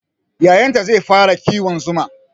Yayanta zai fara kiwon zuma